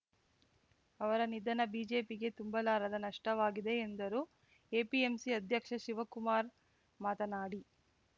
ಅವರ ನಿಧನ ಬಿಜೆಪಿಗೆ ತುಂಬಲಾರದ ನಷ್ಟವಾಗಿದೆ ಎಂದರು ಎಪಿಎಂಸಿ ಅಧ್ಯಕ್ಷ ಶಿವಕುಮಾರ್‌ ಮಾತನಾಡಿ